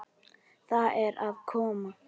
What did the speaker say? Það er að koma!